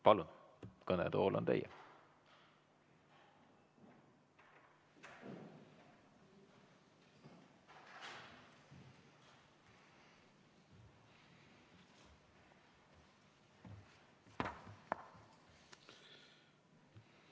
Palun, kõnetool on teie!